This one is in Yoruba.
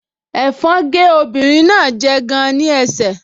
Ẹ̀fọn gé ọmọbìnrin náà jẹ gan-an ní ẹsẹ̀